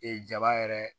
Ee jaba yɛrɛ